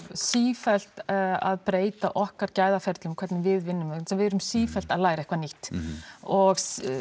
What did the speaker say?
sífellt að breyta okkar gæða ferlum hvernig við vinnum vegna þess að við erum sífellt að læra eitthvað nýtt og